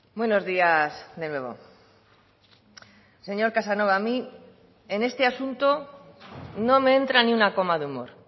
buenos días de nuevo señor casanova a mí en este asunto no me entra ni una coma de humor